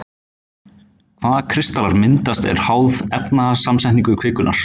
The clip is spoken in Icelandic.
hvaða kristallar myndast er háð efnasamsetningu kvikunnar